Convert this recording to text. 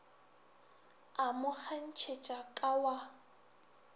a mo kgantšhetša ka wa